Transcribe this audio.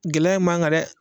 Gɛlɛya in m'an gan dɛ